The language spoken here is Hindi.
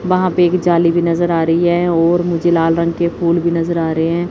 वहां पे एक जाली भी नजर आ रही है ओर मुझे लाल रंग के फूल भी नजर आ रहे हैं।